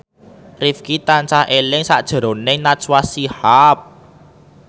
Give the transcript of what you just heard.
Rifqi tansah eling sakjroning Najwa Shihab